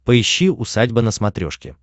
поищи усадьба на смотрешке